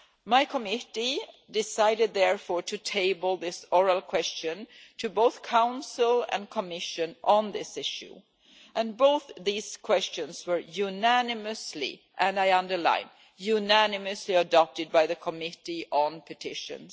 My Committee decided therefore to table this oral question to both the Council and the Commission on this issue, and both these questions were unanimously and I underline, unanimously adopted by the Committee on Petitions.